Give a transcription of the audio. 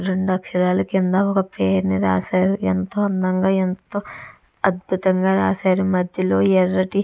రెండు అక్షరాలా కింద ఒక పేరుని రాసారు ఎంతో అందంగా ఎంతో అద్భుతంగా రాసారు మధ్యలో ఎర్రటి --